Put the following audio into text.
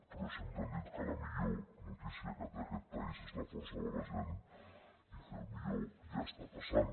però sempre hem dit que la millor notícia que té aquest país és la força de la gent i que el millor ja està passant